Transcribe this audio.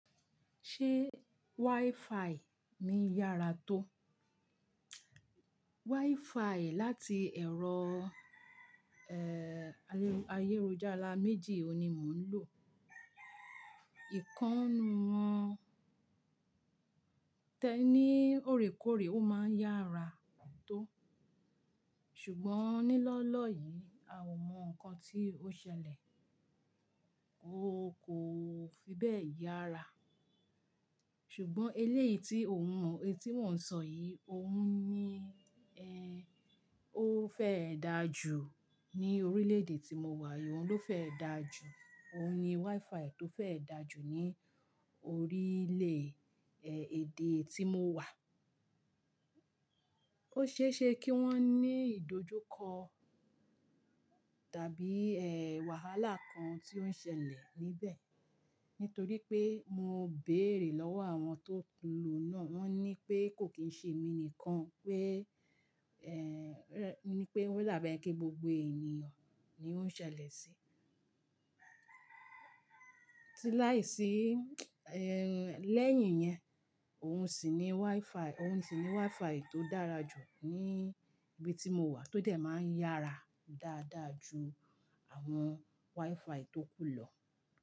Ṣé WiFi mí yára tó? WiFi láti ẹ̀rọ, ayélujára méjì ni mò ń lò. Ìkannu wọn tẹ́ní o rèkórè ó máa ń yára tó. Ṣùgbọ́n ní lọ́ọ́lọ́ọ́ yìí a ò mọ nǹkan tí ó ṣẹlẹ̀. Ó kò fi bẹ́ẹ̀ yára. Ṣùgbọ́n eléyìí tí ò ń mọ, etí mò ń sọ yìí, òun ní ẹ́, ó fẹ́ dà jù ní orílẹ̀-èdè tí mo wà, ìwọ̀n ló fẹ́ dà jù. Òun ni WiFi tó fẹ́ dà jù ní orílẹ̀, eh, èdè tí mo wà. Ó ṣe é ṣe kí wọ́n ní ìdojúkọ tàbí, eh, wàhálà kan tí ó ń ṣẹlẹ̀ níbẹ̀. Nítorí pé mo béèrè lọ́wọ́ àwọn tó ń lò náà, wọ́n ní pé kò kín ṣe mi nìkan pé, eh, ní pé ó dàbí ẹni pé gbogbo ènìyàn ni ó ń ṣẹlẹ̀ sí. Sí láìsí, eh, lẹ́yìn yẹn, òun sì ní WiFi, òun sì ní WiFi tó dára jù ní ibi tí mo wà tó dẹ̀ máa ń yára dáadáa ju àwọn WiFi tó kù lọ.